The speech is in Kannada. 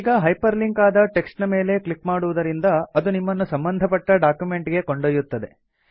ಈಗ ಹೈಪರ್ ಲಿಂಕ್ ಆದ ಟೆಕ್ಸ್ಟ್ ನ ಮೇಲೆ ಕ್ಲಿಕ್ ಮಾಡುವುದರಿಂದ ಅದು ನಿಮ್ಮನ್ನು ಸಂಬಂಧಪಟ್ಟ ಡಾಕ್ಯುಮೆಂಟ್ ಗೆ ಕೊಂಡೊಯ್ಯುತ್ತದೆ